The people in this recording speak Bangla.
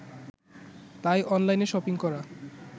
তাই অনলাইনে শপিং করা